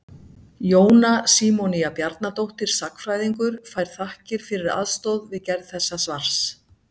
Jóna Símonía Bjarnadóttir sagnfræðingur fær þakkir fyrir aðstoð við gerð þessa svars.